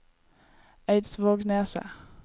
Eidsvågneset